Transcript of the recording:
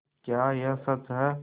क्या यह सच है